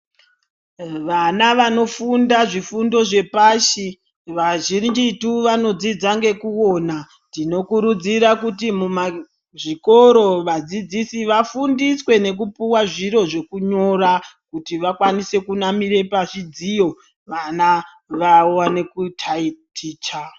Vana vanofunda zvifundo zvepashi vazhinjitu vanofunda ngekuona tinokurudzira kuti mumazvikoro vadzidzisi vafundiswe nekupuwa zviro zvekunyora kuti vakwanise kunamire pazvidziyo vana vaone kutaiticha.